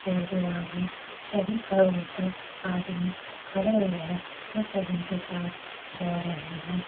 और जो आगे सभी खड़े होते आदमी खड़े हुए हैं ये सब उनके साथ जा रहे हैं।